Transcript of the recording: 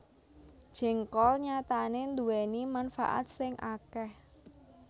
Jéngkol nyatané nduwèni manfaat sing akèh